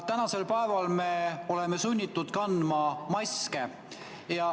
Tänasel päeval me oleme sunnitud kandma maske.